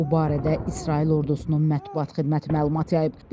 Bu barədə İsrail ordusunun mətbuat xidməti məlumat yayıb.